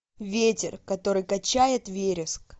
ветер который качает вереск